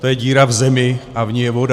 To je díra v zemi a v ní je voda.